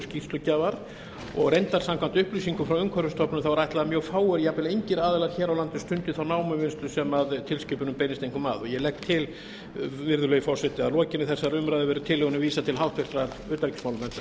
skýrslugjafar og reyndar samkvæmt upplýsingum frá umhverfisstofnun er ætlað að mjög fáir eða jafnvel engir aðilar hér á landi stundi þá námuvinnslu sem tilskipunin beinist einkum að ég legg til virðulegi forseti að að lokinni þessari umræðu verði tillögunni vísað til háttvirtrar utanríkismálanefndar